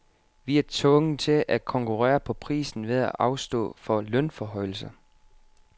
Vi er tvunget til at konkurrere på prisen ved at afstå for lønforhøjelser.